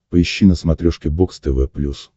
поищи на смотрешке бокс тв плюс